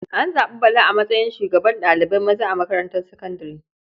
An zaɓi Bala a matsayin shugaban ɗalibai maza a makarantar sakandare.